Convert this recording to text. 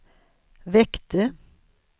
väckte